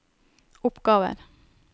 oppgaver